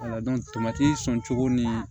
sɔncogo ni